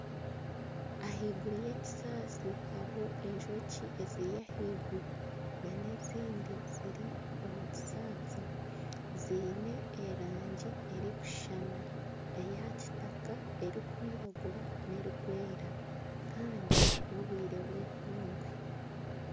Ahaiguru y'ekisaasi hariyo Enjoki eziri ahaiguru na n'ezindi ziri omu kisaasi ziine erangi erikushushana eya kitaka, erikwiragura, n'erikwera kandi n'obwire bw'eihangwe.